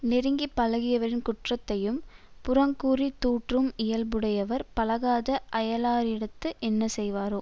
நெருங்கி பழகியவரின் குற்றத்தையும் புறங்கூறி தூற்றும் இயல்புடையவர் பழகாத அயலாரிடத்து என்ன செய்வாரோ